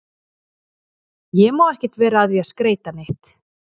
Ég má ekkert vera að því að skreyta neitt.